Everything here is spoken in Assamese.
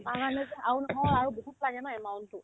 আমাৰ যে আৰু নহয় আৰু বহুত থাকে ন এমাইলতো